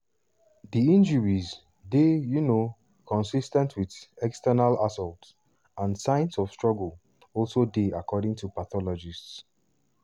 di injuries dey um consis ten t wit "external assault" and signs of struggle also dey according to pathologists.